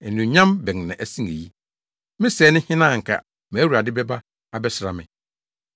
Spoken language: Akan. Anuonyam bɛn na ɛsen eyi. Me sɛɛ ne hena a anka mʼAwurade bɛba abɛsra me?